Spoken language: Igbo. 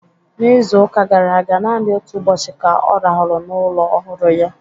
N'izu ụka gara aga, naanị otu ụbọchị ka ọ rahụru n'ụlọ ọhụrụ ya.